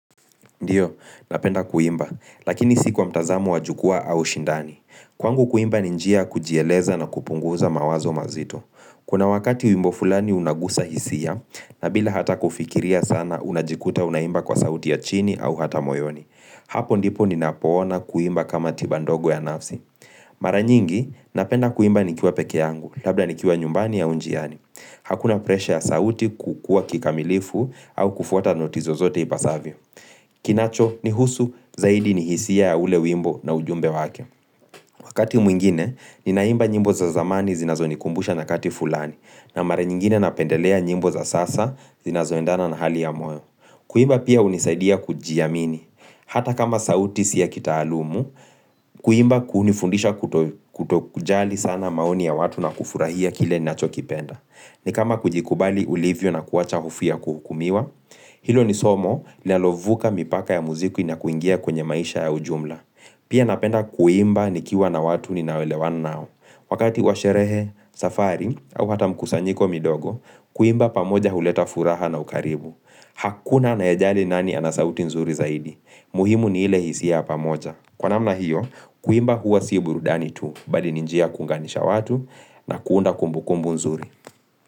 Ndiyo, napenda kuimba, lakini si kwa mtazamo wa jukua au shindani. Kwangu kuimba ni njia kujieleza na kupunguza mawazo mazito. Kuna wakati wimbo fulani unagusa hisia, na bila hata kufikiria sana unajikuta unaimba kwa sauti ya chini au hata moyoni. Hapo ndipo ninapoona kuimba kama tiba ndogo ya nafsi. Mara nyingi, napenda kuimba nikiwa peke yangu, labda nikiwa nyumbani au njiani. Hakuna presha ya sauti kukua kikamilifu au kufuata noti zozote ipasavyo. Kinacho nihusu zaidi ni hisia ya ule wimbo na ujumbe wake Wakati mwingine ni naimba nyimbo za zamani zinazo nikumbusha nyakati fulani na mara nyingine napendelea nyimbo za sasa zinazo endana na hali ya moyo Kuimba pia hunisaidia kuji amini Hata kama sauti si ya kitaalumu Kuimba kunifundisha kuto kutokujali sana maoni ya watu na kufurahia kile nacho kipenda ni kama kujikubali ulivyo na kuwacha hofia kuhukumiwa Hilo ni somo lilalovuka mipaka ya muzikwi nakuingia kwenye maisha ya ujumla Pia napenda kuimba nikiwa na watu ninaoelewana nao Wakati wa sherehe safari au hata mkusanyiko midogo Kuimba pamoja huleta furaha na ukaribu Hakuna anayejali nani ana sauti nzuri zaidi. Muhimu ni ile hisia pamoja Kwa namna hiyo, kuimba huwa si burudani tu Badi ninjia kunganisha watu na kuunda kumbu kumbu nzuri.